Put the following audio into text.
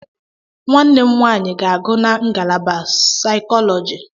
Nwanne m nwaanyị ga-agụ na ngalaba saịkọlọji.